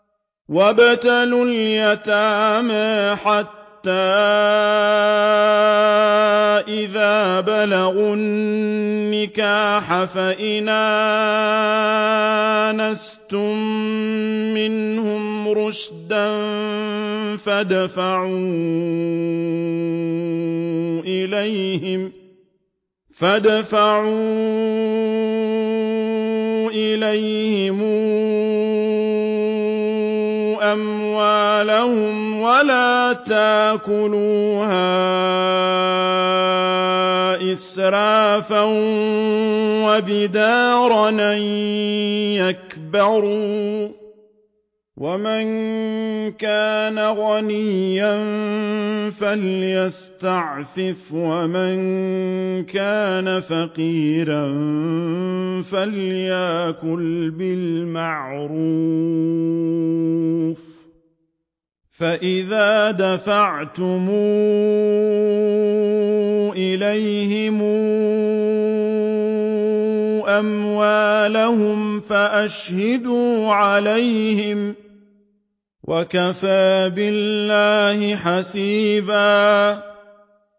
وَابْتَلُوا الْيَتَامَىٰ حَتَّىٰ إِذَا بَلَغُوا النِّكَاحَ فَإِنْ آنَسْتُم مِّنْهُمْ رُشْدًا فَادْفَعُوا إِلَيْهِمْ أَمْوَالَهُمْ ۖ وَلَا تَأْكُلُوهَا إِسْرَافًا وَبِدَارًا أَن يَكْبَرُوا ۚ وَمَن كَانَ غَنِيًّا فَلْيَسْتَعْفِفْ ۖ وَمَن كَانَ فَقِيرًا فَلْيَأْكُلْ بِالْمَعْرُوفِ ۚ فَإِذَا دَفَعْتُمْ إِلَيْهِمْ أَمْوَالَهُمْ فَأَشْهِدُوا عَلَيْهِمْ ۚ وَكَفَىٰ بِاللَّهِ حَسِيبًا